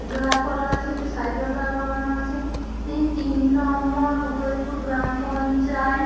দাঁড় করানো আছে। একটি সাইকেল দাঁড় করানো আছে। তিন নম্বর উদয় পুর গামপঞ্চায়েত।